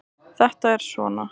Það er svona.